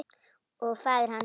Og faðir hans.